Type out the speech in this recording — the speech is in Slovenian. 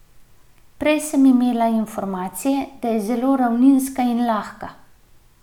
Prej sem imela informacije, da je zelo ravninska in lahka.